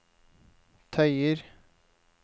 tøyer